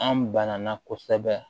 An banana kosɛbɛ